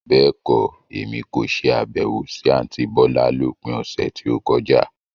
Bẹ́ẹ̀kọ́, Èmi kò ṣe Àbẹ̀wò sí àntí bọ́lá lópin ọ̀sẹ̀ tí ó kọjá.